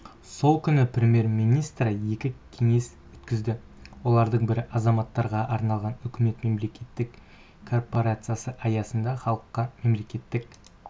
сол күні премьер-министрі екі кеңес өткізді олардың бірі азаматтарға арналған үкімет мемлекеттік корпорациясы аясында халыққа мемлекеттік